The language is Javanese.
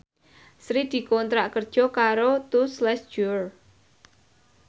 Sri dikontrak kerja karo Tous Les Jour